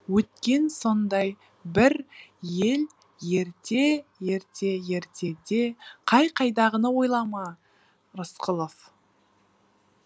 өткен сондай бір ел ерте ерте ертеде қай қайдағыны ойлама рысқұлов